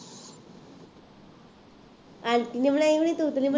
aunty ਨੇ ਬਣਾਈ ਹੋਈ